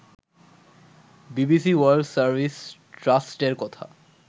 BBC World Service ট্রাস্টের কথা